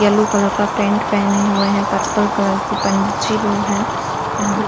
Yellow colour pant पहने हुए हैं। पर्पल कलर की पंची रूम हैं। यहाँ --